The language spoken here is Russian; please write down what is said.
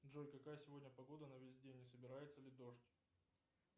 джой какая сегодня погода на весь день не собирается ли дождь